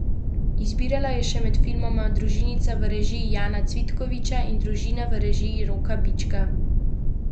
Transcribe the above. Izbirala je še med filmoma Družinica v režiji Jana Cvitkoviča in Družina v režiji Roka Bička.